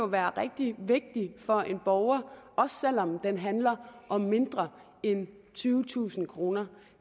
være rigtig vigtig for en borger også selv om den handler om mindre end tyvetusind kroner